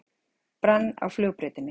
Brann á flugbrautinni